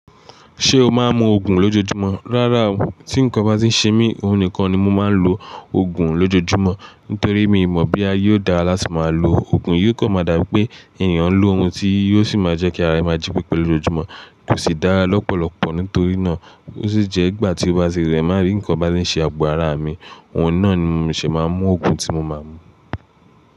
Ṣé o máa ń mu òògùn lójoojúmọ́? Rárá o, tí nǹkan bá tí ń ṣe mí, òhun nìkan ni mo máa ń lo ògùn lójoojúmọ́. Nítorí mi ò mọ̀ bí a yóò dára láti máa lo ògùn, yóò kọ̀ máa dà pé ènìyàn ń lo ohun tí yóò sì máa jẹ́ kí ara èèyàn jípe pẹ̀lú lójúmọ́, kò sì dára lọ́pọ̀lọpọ̀. Nítorí náà, ó sì jẹ́ ìgbà tí ó bá ṣe rẹ̀, má rí nǹkan bá ti ń ṣe ààbò ara mi, oun náà ni mo ṣì máa ń mu ògùn tí mo máa ń mu.